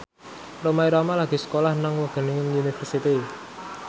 Rhoma Irama lagi sekolah nang Wageningen University